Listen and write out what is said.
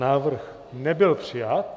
Návrh nebyl přijat.